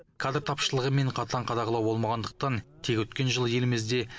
кадр тапшылығы мен қатаң қадағалау болмағандықтан тек өткен жылы елімізде